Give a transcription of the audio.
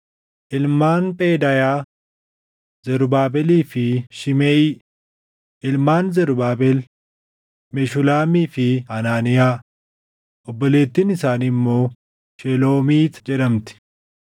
Ilmaan Phedaayaa: Zarubaabelii fi Shimeʼii. Ilmaan Zarubaabel: Meshulaamii fi Hanaaniyaa. Obboleettiin isaanii immoo Sheloomiit jedhamti.